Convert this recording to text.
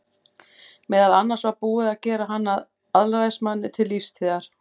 Meðal annars var búið að gera hann að alræðismanni til lífstíðar.